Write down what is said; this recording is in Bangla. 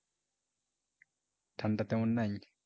ঠান্ডা তেমন নাই?